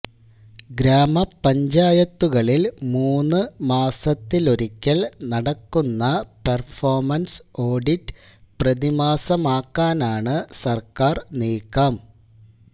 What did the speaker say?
ഗ്രാമപഞ്ചായത്തുകളില് മൂന്ന് മാസത്തിലൊരിക്കല് നടക്കുന്ന പെര്ഫോമന്സ് ഓഡിറ്റ് പ്രതിമാസമാക്കാനാണ് സര്ക്കാര് നീക്കം